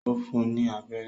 Ó fún ní abẹ́rẹ́